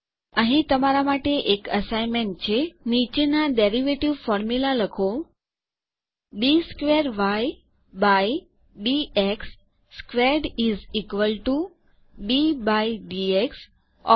અહીં તમારાં માટે એક અસાઈનમેન્ટ છે નીચેનાં વ્યુત્પન્ન સૂત્ર ડેરિવેટિવ ફોર્મુલા લખો d squared y by d x squared is equal to d by d x of